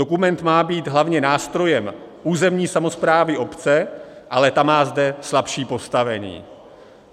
Dokument má být hlavně nástrojem územní samosprávy obce, ale ta má zde slabší postavení.